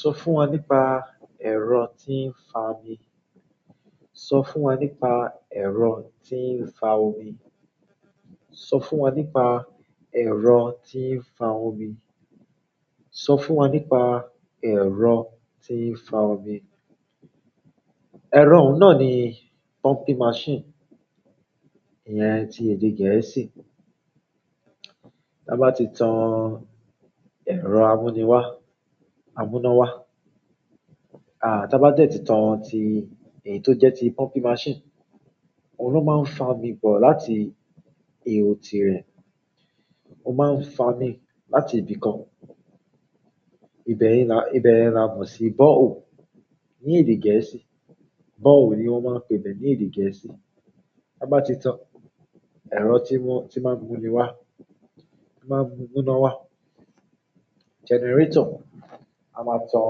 Sọ fún wa nípa ẹ́rọ́ tí ǹ fàá mi sọ fún wọn nípa ẹ̀rọ tí ń fa omi. Sọ fún wọn nípa ẹ̀rọ tí ń fa omi. Sọ fún wọn nípa ẹ̀rọ tí ń fa omi. Ẹ̀rọ náà ni pumping machine. Iyẹn ti èdè gẹ̀ẹ́sì. Tí a bá ti tan ẹ̀rọ amúniwá, amúnáwá, à, tí a bá dẹ́ ti tan ti èyí tó jẹ́ ti pumping machine, òun ló máa ń fa omi bọ̀ láti ihò tirẹ̀. Ó máa ń fa omi láti ibìkan. Ibẹ̀yẹn, ibẹ̀yẹn ni a mọ̀ sí bore hole ní èdè gẹ̀ẹ́sì. Bore hole ni wọ́n máa ń pè ibẹ ní èdè gẹ̀ẹ́sì. Tí a bá ti tan ẹ̀rọ tí máa ń múni wá, tí máa ń mú múná wá, generator. A máa tan,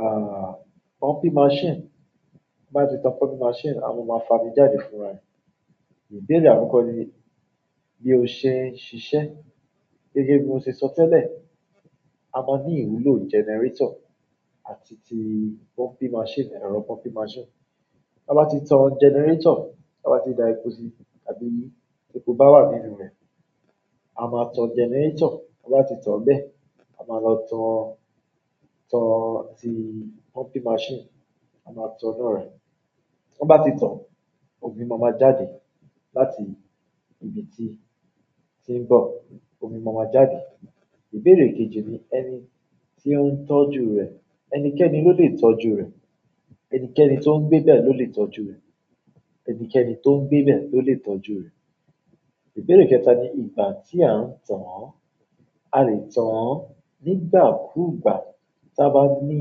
àh, pumping machine. Bí a bá ti tan pumping machine, a máa fa omi jáde fúnra rẹ̀. Ìbéèrè àkọ́kọ́ ni bí o ṣe ń ṣiṣẹ́. Gẹ́gẹ́ bí mo ṣe sọ tẹ́lẹ̀, a máa ní ìwúlò generator àti ti pumping machine, ẹ̀rọ pumping machine. Tí a bá ti tan generator, tí a bá ti da epo sí tàbí epo bá wà nínú rẹ̀, a máa tan generator. Tí a bá ti tan bẹ́ẹ̀, a máa lọ tan, tan ti pumping machine. A máa tan á náà rẹ. Tí wọ́n bá ti tan, omi máa ma jáde láti ibi tí, tí ń bọ̀. Omi máa ma jáde. Ìbéèrè kejì ni ẹni tí ó ń tọ́jú rẹ̀. Ẹnikẹ́ni ló lè tọ́jú rẹ̀. Ẹnikẹ́ni tó ń gbé bẹ̀ ló lè tọ́jú rẹ̀. Ẹnikẹ́ni tó ń gbé bẹ̀ ló lè tọ́jú rẹ̀. Ìbéèrè kẹta ni ìgbà tí à ń tan án. A lè tan án nígbàkúgbà tí a bá ní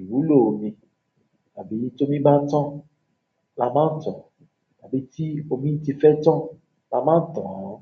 ìwúlò omi, tàbí tí omi bá tán, la máa ń tan. Tàbí tí omi ti fẹ́ tán, la máa ń tan án.